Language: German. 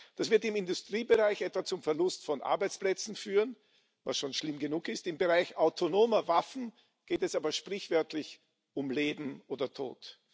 Das wird im Industriebereich etwa zum Verlust von Arbeitsplätzen führen was schon schlimm genug ist im Bereich autonomer Waffen geht es aber sprichwörtlich um Leben oder Tod.